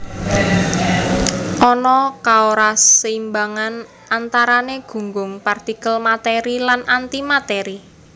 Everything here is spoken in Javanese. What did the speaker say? Ana kaoraseimbangan antarané gunggung partikel matèri lan antimatèri